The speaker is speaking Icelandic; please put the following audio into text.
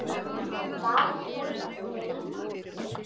Var þau að dreyma?